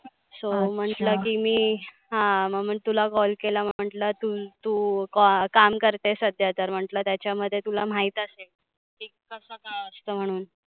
so म्हटलं की मी हा मग तुला call केला. म्हटलं तु काम करतेस सध्या. तर म्हणटलं त्याच्यामध्ये तुला महिती असेल, की कसं असतं म्हणून.